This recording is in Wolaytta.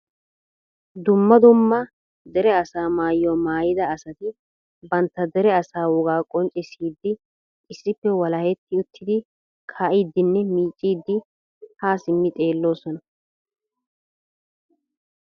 dumma dumma dere asaa maayyuwa maayyida asati bantta dere asaa wogaa qonccissidi issippe walahetti uttidi kaa'idinne miiccidi ha simmi xeelloosona.